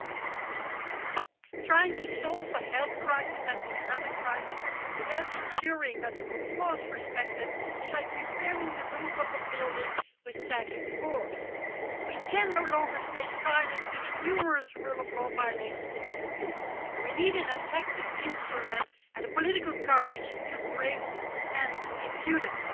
Madam President, trying to solve the health crisis and the economic crisis without ensuring that the rule of law is respected is like repairing the roof of a building with sagging floors. We can no longer stay silent to the numerous rule of law violations in the EU, and we need an effective instrument and the political courage to bring an end to impunity.